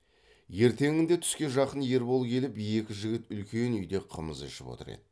ертеңінде түске жақын ербол келіп екі жігіт үлкен үйде қымыз ішіп отыр еді